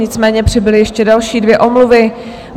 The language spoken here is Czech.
Nicméně přibyly ještě další dvě omluvy.